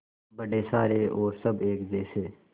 बड़े सारे और सब एक जैसे